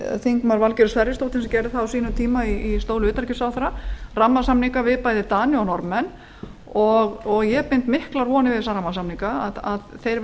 háttvirtur þingmaður valgerður sverrisdóttir gerði tvo rammasamninga þegar hún var utanríkisráðherra bæði við dani og norðmenn ég bind miklar vonir við samningana að þeir